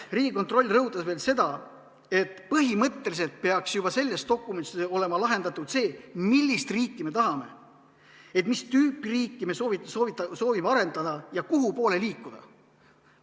Riigikontroll rõhutas veel seda, et põhimõtteliselt peaks selles dokumendis olema lahendatud see, millist riiki me tahame, st mis tüüpi riiki me soovime arendada ja kuhupoole liikuda.